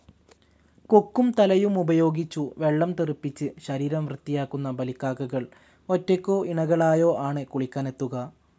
കൊക്കും തലയുമുപയോഗിച്ചു വെള്ളം തെറിപ്പിച്ച് ശരീരം വൃത്തിയാക്കുന്ന ബലിക്കാക്കകൾ ഒറ്റയ്ക്കോ ഇണകളായോ ആണ് കുളിക്കാനെത്തുക.